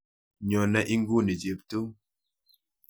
Nyone inguni Cheptum.